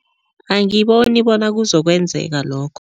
Angiboni bona kuzokwenzeka lokho.